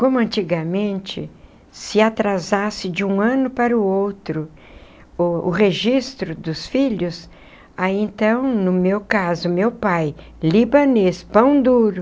Como antigamente se atrasasse de um ano para o outro o o registro dos filhos, aí então, no meu caso, meu pai, libanês, pão duro,